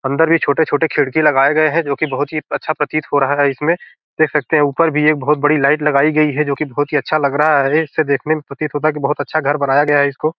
अंदर भी छोटे-छोटे खिड़की लगाए गए हैं जो की बहुत ही अच्छा प्रतीत हो रहा है इसमें देख सकते हैं ऊपर भी एक बहुत बड़ी लाइट लगाई गई है जो की बहुत अच्छा लग रहा है इसे देखने में ये प्रतीत होता है कि बहुत अच्छा घर बनाया गया है इसको।